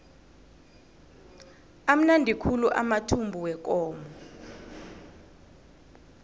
amnandi khulu amathumbu wekomo